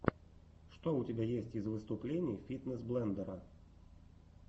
что у тебя есть из выступлений фитнес блендера